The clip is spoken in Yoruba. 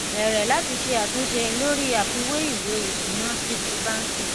bẹrẹ láti ṣe àtúnṣe lórí àfiwé ìwé ìsúná sí ti bánkì